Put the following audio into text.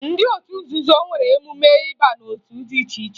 Ndị otu nzuzo nwere emume ịba n'otu dị iche iche